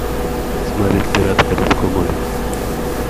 смотреть пираты карибского моря